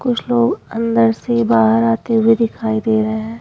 कुछ लोग अंदर से बाहर आते हुए दिखाई दे रहे हैं।